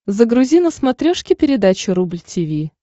загрузи на смотрешке передачу рубль ти ви